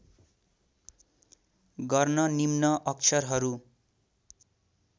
गर्न निम्न अक्षरहरू